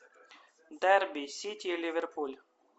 дерби сити ливерпуль